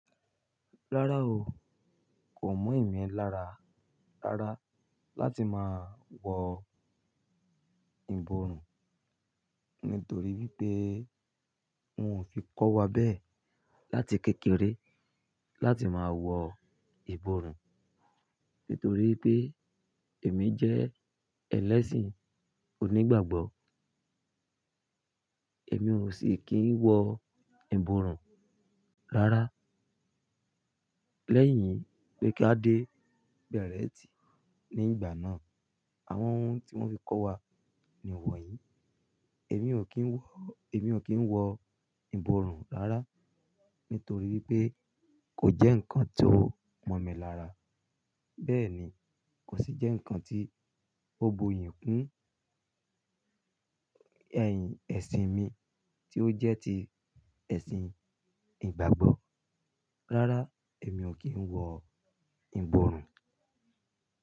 Rárá o, kò mọ̀ emí lára rárá láti máa wọ ìborùn, nítorí wípé wón o fi kọ́ wa bẹ́ẹ̀ láti kékeré láti máa wọ ìborùn. Nítorí wipé èmi jẹ́ ẹlẹ́sìn onígbàgbọ́, èmi ò sì kín wọ ìborùn rárá. Lẹ́yìn pé ká dé bẹ̀rẹtì ní ìgbà náà, àwọn ohun tí wón fi kọ́ wa ni wọ̀nyìí. Èmi ò kín wọ, èmi ò kín wọ ìborùn rárá nítorí wipé kò jẹ́ ǹkan tó mọ̀ mi lára. Bẹ́ẹ̀ ni, kò sì jẹ́ ǹkan tí ó boyii fún ẹ̀sìn mi tí ó jẹ́ ti ẹ̀sìn ìgbàgbọ́. Rárá, èmi ò kín wọ ìborùn.